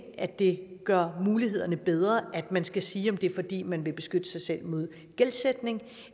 at det gør mulighederne bedre at man skal sige at det er fordi man vil beskytte sig selv mod gældsætning